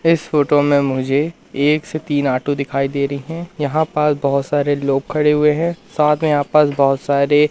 इस फोटो मे मुझे एक से तीन ऑटो दिखाई दे रहे है यहां पर बहुत सारे लोग खडे हुए है साथ मे आपस बहुत सारे --